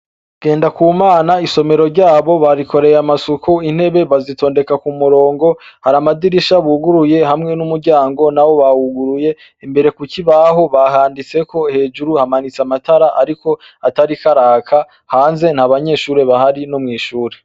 Ngendakumana isomero ryabo barikoreye amasuku, intebe bazitondeka ku murongo, hari amadirisha buguruye hamwe n'umuryango nawo bawuguruye, imbere ku kibaho bahanditseko, hejuru hamanitse amatara ariko atariko araka, hanze nta banyeshure bahari no mw'ishure.